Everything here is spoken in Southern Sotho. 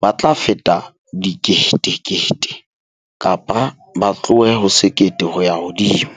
ba tla feta dikete-kete, kapa ba tlohe ho sekete ho ya hodimo.